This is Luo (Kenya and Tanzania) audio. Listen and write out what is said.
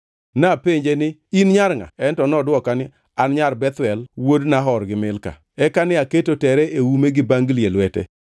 “Napenje ni, ‘In nyar ngʼa?’ “En to nodwoka ni, ‘An nyar Bethuel, wuod Nahor gi Milka.’ “Eka ne aketo tere e ume gi bangli e lwete,